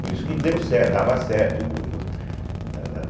Por isso que deu certo, dava certo o grupo da da da